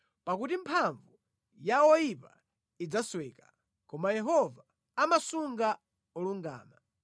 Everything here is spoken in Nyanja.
pakuti mphamvu ya oyipa idzasweka, koma Yehova amasunga olungama.